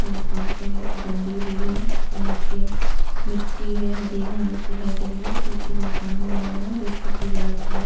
ताखाओं से बंधी हुई है नीचे मिट्टी है हरी घास दिखाई दे रही है पीछे मकान बना हुआ है जिसकी दीवार पे --